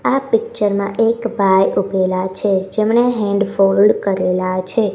આ પિક્ચર માં એક ભાઈ ઉભેલા છે જેમણે હેન્ડ ફોલ્ડ કરેલા છે.